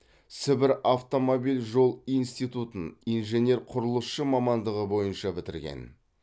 сібір автомобиль жол институтын инженер құрылысшы мамандығы бойынша бітірген